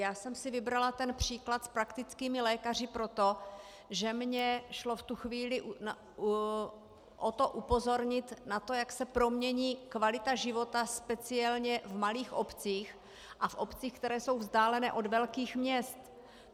Já jsem si vybrala ten příklad s praktickými lékaři proto, že mi šlo v tu chvíli o to upozornit na to, jak se promění kvalita života, speciálně v malých obcích a v obcích, které jsou vzdálené od velkých měst.